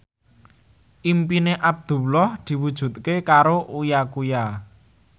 impine Abdullah diwujudke karo Uya Kuya